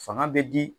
Fanga bɛ di